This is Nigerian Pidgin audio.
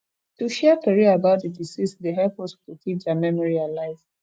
to share tori about the deceased dey help us to keep their memory alive